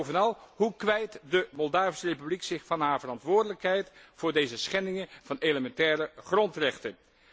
Bovenal, hoe kwijt de Moldavische Republiek zich van haar verantwoordelijkheid voor deze schendingen van elementaire grondrechten?